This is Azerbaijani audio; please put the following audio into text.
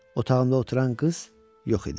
Otağımda oturan qız yox idi.